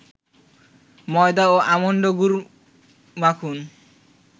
ময়দা ও আমন্ড গুঁড়ো মাখুন